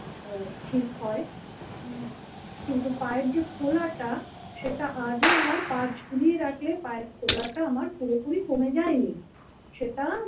উম ঠিক হয় উম কিন্তু পায়ের যে ফোলাটা সেটা আজও আমার পা ঝুলিয়ে রাখলে পায়ের ফোলাটা আমার পুরোপুরি কমে যায়নি সেটা।